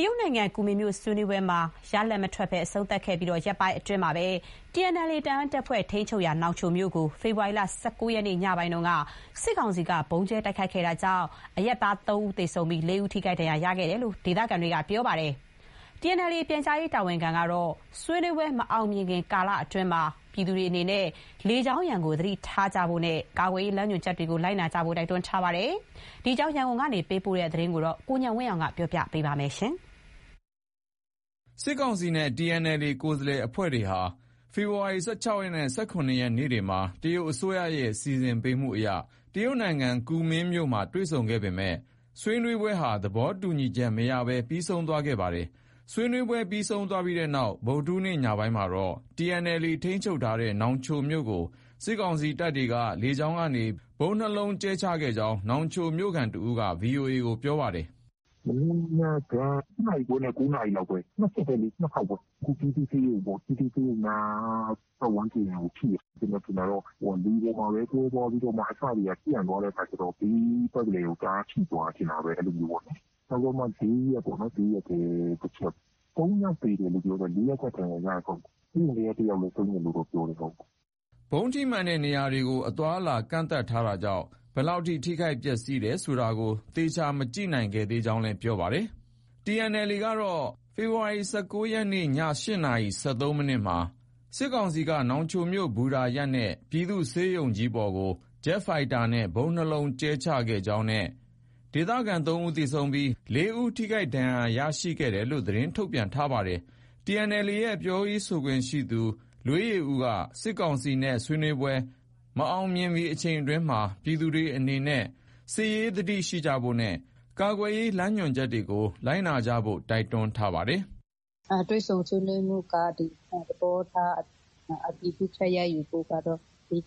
တရုတ်နိုင်ငံ ကူမင်းမြို့ ဆွေးနွေးပွဲမှာ ရလဒ်မထွက်ဘဲ အဆုံးသတ်ခဲ့ပြီး ရက်ပိုင်းအတွင်းမှာပဲ TNLA ထိန်းချုပ်ရာ နောင်ချိုမြို့ကို ဖေဖော်ဝါရီလ ၁၉ ရက်နေ့ ညပိုင်းက စစ်ကောင်စီက ဗုံးကြဲ တိုက်ခိုက်ခဲ့တာကြောင့် အရပ်သားတချို့ သေဆုံးပြီး ၄ ဦး ထိခိုက်ဒဏ်ရာရခဲ့ကြောင်း ဒေသခံတွေက ပြောပါတယ်။ TNLA ရဲ့ ပြန်ကြားရေးတာဝန်ခံကတော့ ဆွေးနွေးပွဲ မအောင်မြင်မီ ကာလအတွင်းမှာ ပြည်သူတွေအနေနဲ့ လေကြောင်းရန်ကို သတိထားဖို့နဲ့ ကာကွယ်ရေး လမ်းညွှန်ချက်တွေကို လိုက်နာကြဖို့ တိုက်တွန်းထားပါတယ်။ ဒီအကြောင်း ရန်ကုန်က သတင်းပေးပို့ထားတာပါ။ စစ်ကောင်စီနဲ့ TNLA ကိုယ်စားလှယ်တွေဟာ ဒီလ ၁၆ ရက်နဲ့ ၁၇ ရက် နေ့တွေမှာ တရုတ်အစိုးရရဲ့ စီစဉ်ပေးမှုအရ တရုတ်နိုင်ငံ ကူမင်းမြို့မှာ တွေ့ဆုံခဲ့ပေမဲ့ ဆွေးနွေးပွဲဟာ သဘောတူညီချက် မရခဲ့ပဲ ပြီးဆုံးသွားပါတယ်။ ဆွေးနွေးပွဲ ပြီးဆုံးတဲ့နောက် ဗုဒ္ဓဟူးနေ့ ညပိုင်းမှာတော့ TNLA ထိန်းချုပ်ထားတဲ့ နောင်ချိုမြို့ကို စစ်ကောင်စီက လေကြောင်းကနေ ဗုံး ၂ လုံးကြဲချခဲ့ကြောင်း နောင်ချိုမြို့ခံ တဦးက VOA ကို ပြောပါတယ်။ “ မနေ့ညက ၈ နာရီခွဲနဲ့ ၉ နာရီလောက်ပဲ။ ၂ ချက်ပဲလေ။ ၂ ခေါက်ပဲ။ အခု ပြည်သူ့ဆေးရုံပေါ့။ ပြည်သူ့ဆေးရုံနား ပတ်ဝန်းကျင်ကို ထိတယ်။ ကျနော်ထင်တာတော့ လေပေါ်မှာပဲ ကွဲသွားပြီးတော့မှ အစတွေက ပြန့်သွားတဲ့အခါ ကျတော့ ဘေးပတ်လည်ကို တအားထိသွားတယ် ထင်တာပဲ။ အဲလိုမျိုးပေါ့။ နောက်ပြီးတော့မှ ဈေးရပ်ထဲ တချက်။ ၃ ယောက် သေတယ်လို့ ပြောတယ်။ ၄ ယောက်က ဒဏ်ရာရတယ်။ဆေးရုံထဲက တယောက်လည်း ဆုံးတယ်လို့တော့ ပြောတယ်။ ” ဗုံးထိမှန်တဲ့ နေရာတွေကို အသွားအလာ ကန့်သတ်ထားတာကြောင့် ဘယ်လောက် ထိခိုက်ပျက်စီးတယ် ဆိုတာကို သေချာ မကြည့်နိုင်ခဲ့ကြောင်းလည်း ပြောပါတယ်။ TNLA ကတော့ ဖေဖေါ်ဝါရီ ၁၉ ရက်နေ့ ည ၈ နာရီ ၁၃ မိနစ်မှာ စစ်ကောင်စီတပ်က နောင်ချိုမြို့ ဘူတာရပ်နဲ့ ပြည်သူ့ဆေးရုံပေါ်ကို ဂျက်ဖိုက်တာနဲ့ ဗုံး၂ လုံး ကြဲချခဲ့ကြောင်းနဲ့ ဒေသခံ ၃ ဦးသေဆုံးပြီး ၄ ဦး ထိခိုက်ဒဏ်ရာရခဲ့ကြောင်း သတင်း ထုတ်ပြန်ထားပါတယ်။ TNLA ရဲ့ ပြောရေးဆိုခွင့်ရှိသူ လွေးယေဦးက စစ်ကောင်စီနဲ့ ဆွေးနွေးပွဲ မအောင်မြင်မီ အချိန်အတွင်းမှာ ပြည်သူတွေအနေနဲ့ စစ်ရေးသတိရှိဖို့နဲ့ ကာကွယ်ရေးလမ်းညွှန်ချက်တွေကို လိုက်နာကြဖို့ တိုက်တွန်းထားပါတယ်။ “ တွေ့ဆုံဆွေးနွေးပွဲကတော့ သဘောထား အတည်ပြုချက် ရယူဖို့ကတော့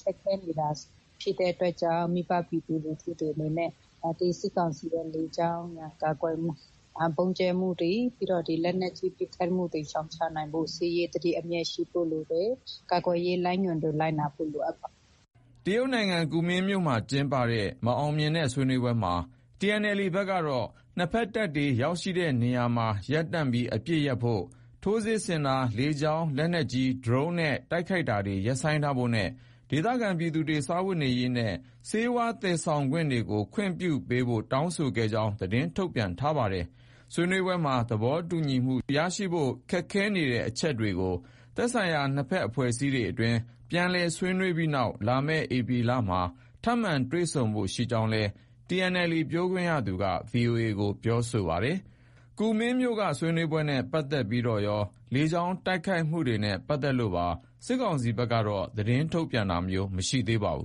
ခက်ခဲနေတာ ဖြစ်တဲ့အတွက်ကြောင့် မိဘပြည်သူလူထုတွေအနေနဲ့ စစ်ကောင်စီရဲ့ လေကြောင်းရန် ကာကွယ်မှု၊ ဗုံးကြဲမှုတွေ ပြီးတော့ ဒီ လက်နက်ကြီး ပစ်ခတ်မှုတွေ ရှောင်ရှားနိုင်ဖို့ဆို စစ်ရေးသတိ အမြဲရှိဖို့ လိုတယ်။ ကာကွယ်ရေးလမ်းညွှန်တွေ လိုက်နာဖို့ လိုအပ်ပါတယ်။” ကူမင်းမြို့မှာကျင်းပတဲ့ မအောင်မြင်တဲ့ ဆွေးနွေးပွဲမှာ TNLA ဘက်က နှစ်ဘက်တပ်တွေ ရောက်ရှိတဲ့နေရာမှာ ရပ်တန့်ပြီး အပစ်ရပ်ဖို့၊ ထိုးစစ် ဆင်တာ၊ လေကြောင်း လက်နက်ကြီး၊ ဒရုန်းနဲ့ တိုက်ခိုက်တာတွေ ရပ်ဆိုင်းထားဖို့နဲ့ ဒေသခံပြည်သူတွေ စားဝတ်နေရေးနဲ့ ဆေးဝါး သယ်ယူတာတွေကို ခွင့်ပြုပေးဖို့ တောင်းဆိုခဲ့ကြောင်း သတင်းထုတ်ပြန်ထားပါတယ်။ ဆွေးနွေးပွဲမှာ သဘောတူညီမှု ရရှိဖို့ ခက်ခဲနေတဲ့ အချက်တွေကို သက်ဆိုင်ရာ နှစ်ဘက်အဖွဲ့အစည်းအတွင်း ပြန်လည် ဆွေးနွေးပြီးနောက် လာမယ့် ဧပြီလလောက်မှာ ထပ်မံတွေ့ဆုံဖို့ ရှိကြောင်းလည်း TNLA ပြောခွင့်ရသူက VOA ကို ပြောဆိုထားပါတယ်။ ဆွေးနွေးပွဲနဲ့ပတ်သက်ပြီးတော့ရော လေကြောင်းတိုက်ခိုက်မှုနဲ့ ပတ်သက်လို့ပါ စစ်ကောင်စီဘက်ကတော့ သတင်းထုတ်ပြန်တာ မရှိသေးပါဘူး